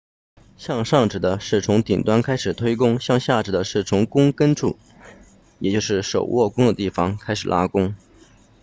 向上指的是从顶端开始推弓向下指的是从弓根处也就是手握弓的地方开始拉弓